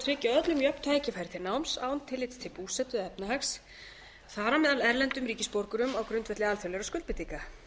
tryggja öllum jöfn tækifæri til náms án tillits til búsetu eða efnahags þar á meðal erlendum ríkisborgurum á grundvelli alþjóðlegra skuldbindinga